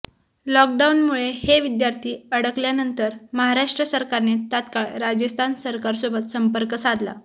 लॉकडाऊनमुळे हे विद्यार्थी अडकल्यानंतर महाराष्ट्र सरकारने तात्काळ राजस्थान सरकारसोबत संपर्क साधला